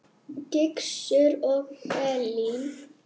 Gizur og Elín.